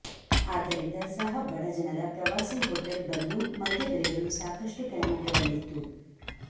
ಆದ್ದರಿಂದ ಸಹ ಬಡಜನರ ಪ್ರವಾಸಿ ಹೋಟೆಲ್ ಬಂದು ಮದ್ಯ ಬೆಲೆಗಳು ಸಾಕಷ್ಟು ಕೆಳಮಟ್ಟದಲ್ಲಿತ್ತು